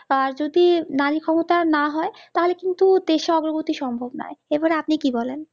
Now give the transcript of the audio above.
যদি নাড়ী ক্ষমতা না হই তা হলে কিন্তু দেশের অগ্রগতি সম্ভব নই, এবারে আপনি কি বলেন